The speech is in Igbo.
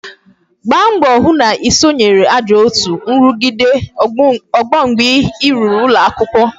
Gbaa mbọ hụ na I sonyere ajọ otu nrugide ọgbọ mgbe I ruru ụlọ akwụkwọ